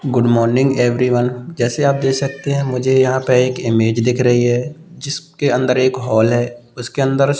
Good morning everyone जैसे आप देख सकते हैं मुझे यहां पर एक इमेज दिख रही है। जिसके अंदर एक हॉल है। उसके अंदर स--